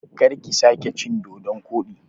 Karki sake cin dodon koɗi!